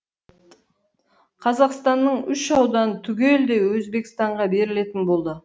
қазақстанның үш ауданы түгелдей өзбекстанға берілетін болды